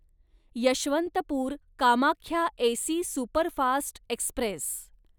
Yesvantpur Kamakhya AC superfast Express